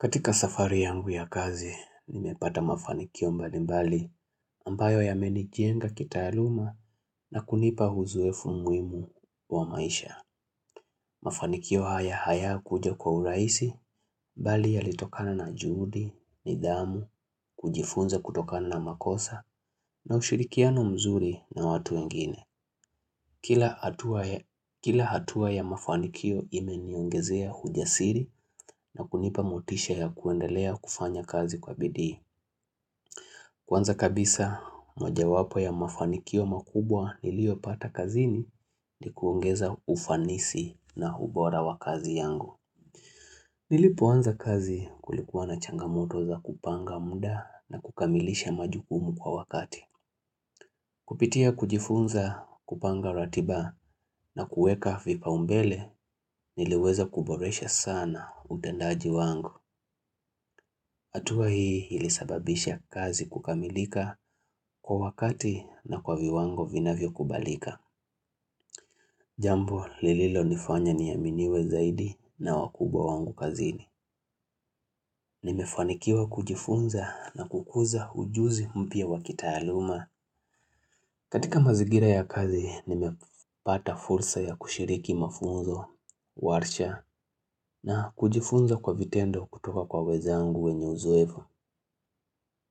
Katika safari yangu ya kazi, nimepata mafanikio mbali mbali ambayo yamenijenga kitaaluma na kunipa uzoefu muhimu wa maisha. Mafanikio haya hayakuja kwa urahisi, bali yalitokana na juhudi, nidhamu, kujifunza kutokana na makosa na ushirikiano mzuri na watu wengine. Kila hatua ya mafanikio imeniongezea hujasiri na kunipa motisha ya kuendelea kufanya kazi kwa bidii. Kwanza kabisa mojawapo ya mafanikio makubwa niliopata kazini ni kuongeza ufanisi na ubora wa kazi yangu. Nilipoanza kazi kulikuwa na changamoto za kupanga muda na kukamilisha majukumu kwa wakati. Kupitia kujifunza kupanga ratiba na kuweka vipaumbele niliweza kuboresha sana utendaji wangu. Atua hii ilisababisha kazi kukamilika kwa wakati na kwa viwango vinavyo kubalika. Jambo lililo nifanya niaminiwe zaidi na wakubwa wangu kazini. Nimefanikiwa kujifunza na kukuza ujuzi mpya wa kitaaluma. Katika mazigira ya kazi, nimepata fursa ya kushiriki mafunzo, warsha, na kujifunza kwa vitendo kutoka kwa wezangu wenye uzoefu.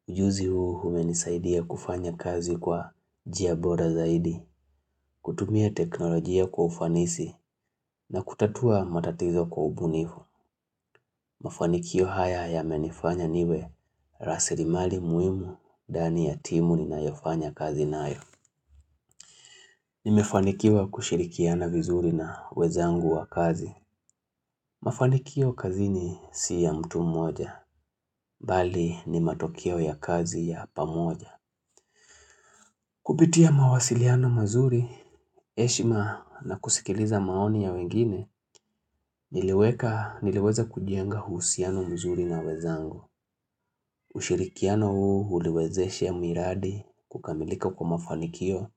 Ujuzi huu umenisaidia kufanya kazi kwa njia bora zaidi, kutumia teknolojia kwa ufanisi na kutatua matatizo kwa ubunifu. Mafanikio haya yamenifanya niwe rasilimali muhimu ndani ya timu ninayofanya kazi nayo. Nimefanikiwa kushirikia na vizuri na wenzangu wa kazi. Mafanikio kazini si ya mtu mmoja, bali ni matokeo ya kazi ya pamoja. Kupitia mawasiliano mazuri, heshima na kusikiliza maoni ya wengine, niliweka niliweza kujenga huusiano mzuri na wenzangu. Ushirikiano huu uliwezeshe miradi kukamilika kwa mafanikio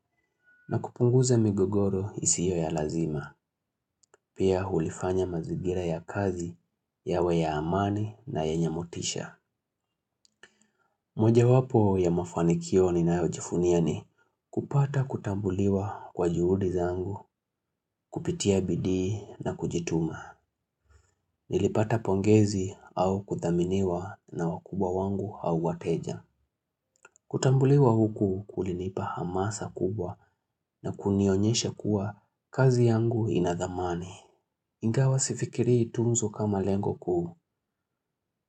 na kupunguza migogoro isio ya lazima. Pia hulifanya mazingira ya kazi, yawe ya amani na yenyemotisha. Mojawapo ya mafanikio ninayajivunia ni kupata kutambuliwa kwa juhudi zangu, kupitia bidii na kujituma. Nilipata pongezi au kuthaminiwa na wakubwa wangu au wateja. Kutambuliwa huku kulinipa hamasa kubwa na kunionyesha kuwa kazi yangu ina dhamani. Ingawa sifikirii tu mtu kama lengo kuu,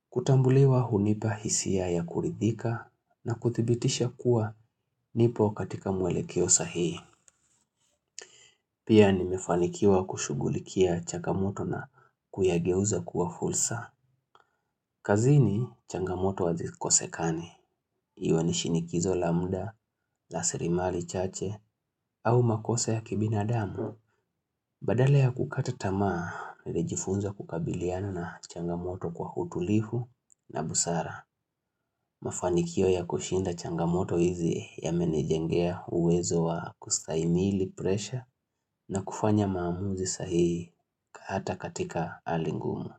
kutambuliwa hunipa hisia ya kuridhika na kuthibitisha kuwa nipo katika mwelekeo sahihi. Pia nimefanikiwa kushugulikia changamoto na kuyageuza kuwa fursa. Kazini changamoto hazikosekani, iwe ni shinikizo la mda na rasilimali chache au makosa ya kibinadamu. Badala ya kukata tamaa, nilejifunza kukabiliana na changamoto kwa utulifu na busara, mafanikio ya kushinda changamoto hizi yamenijengea uwezo wa kustaimili presha na kufanya maamuzi sahii ata katika hali ngumu.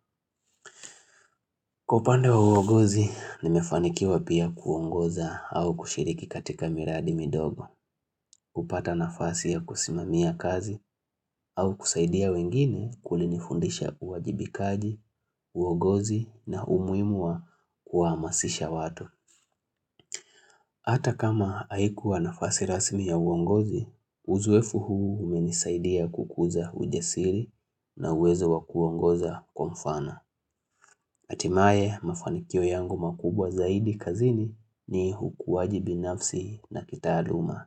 Kwa upande wa uongozi, nimefanikiwa pia kuongoza au kushiriki katika miradi midogo, hupata nafasi ya kusimamia kazi au kusaidia wengine kulinifundisha uwajibikaji, uongozi na umuhimu wa kuamasisha watu. Hata kama haikuwa nafasi rasmi ya uongozi, uzoefu huu umenisaidia kukuza ujasiri na uwezo wa kuongoza kwa mfano. Hatimae mafanikio yangu makubwa zaidi kazini ni hukuwai binafsi na kitaaluma.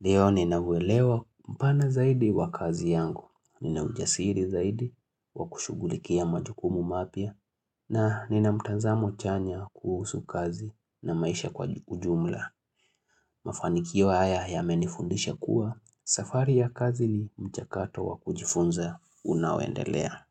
Leo ninavyoelewa mpana zaidi wa kazi yangu, ninaujasiri zaidi wa kushughulikia majukumu mapya, na nina mtanzamo chanya kuhusu kazi na maisha kwa ujumla. Mafanikio haya yamenifundisha kuwa, safari ya kazi ni mchakato wa kujifunza unaoendelea.